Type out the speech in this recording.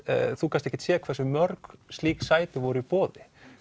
þú gast ekki séð hversu mörg slík sæti voru í boði